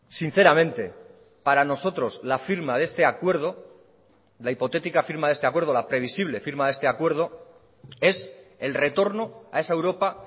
sinceramente para nosotros la firma de este acuerdo la hipotética firma de este acuerdo la previsible firma de este acuerdo es el retorno a esa europa